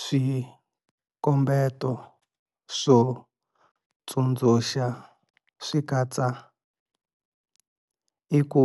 Swikombeto swo tsundzuxa swi katsa- l Ku